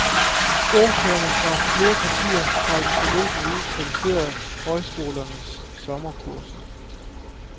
Ordførere fra flere partier har i den forløbne uge kritiseret højskolernes sommerkurser.